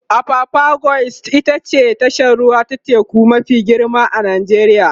apapa quays ita ce tashar ruwa ta teku mafi girma a Najeriya